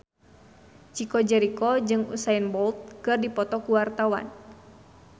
Chico Jericho jeung Usain Bolt keur dipoto ku wartawan